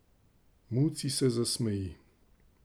Muci se zasmeji.